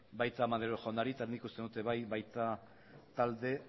baita maneiro jaunari eta nik uste dut ere bai talde